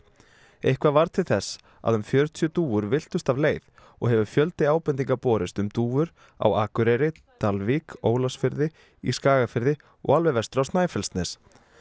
eitthvað varð til þess að um fjörutíu dúfur villtust af leið og hefur fjöldi ábendinga borist um dúfur á Akureyri Dalvík Ólafsfirði í Skagafirði og alveg vestur á Snæfellsnes